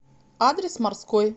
адрес морской